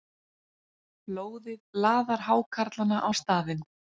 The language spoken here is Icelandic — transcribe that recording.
Blóðið laðar hákarlana á staðinn.